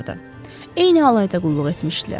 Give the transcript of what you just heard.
Eyni alayda qulluq etmişdilər.